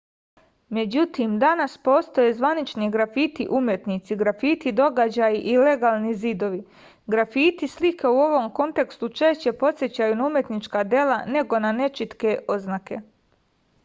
međutim danas postoje zvanični grafiti umetnici grafiti događaji i legalni zidovi grafiti slike u ovom kontekstu češće podsećaju na umetnička dela nego na nečitke oznake